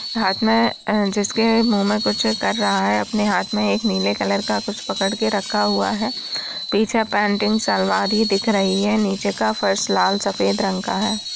हाथ मने अ जिसके मुँह में कुछ कर रहा है अपने हाथ में एक नीले कलर का कुछ पकड़ के रखा हुआ है पीछे पेंटिंग सलवार ही दिख रही है नीचे का फर्श लाल सफेद रंग का है।